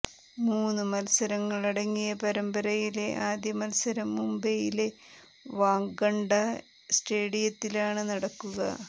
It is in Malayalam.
മൂന്നു മത്സരങ്ങളടങ്ങിയ പരമ്പരയിലെ ആദ്യ മത്സരം മുംബൈയിലെ വാങ്കഡെ സ്റ്റേഡിയത്തിലാണ് നടക്കുക